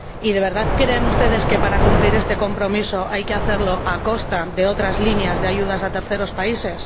¿De verdad creen ustedes que para cumplir este compromiso hay que hacerlo a costa de otras líneas de ayudas a terceros países?